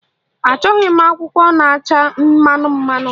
Achọghị m akwụkwọ na-acha mmemmme